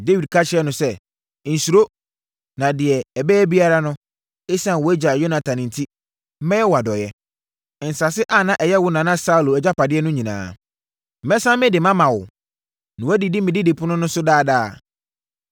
Dawid ka kyerɛɛ no sɛ, “Nsuro, na deɛ ɛbɛyɛ biara no, ɛsiane wʼagya Yonatan enti, mɛyɛ wo adɔeɛ. Nsase a na ɛyɛ wo nana Saulo agyapadeɛ no nyinaa, mɛsane mede mama wo, na woadidi me didipono so daa daa.”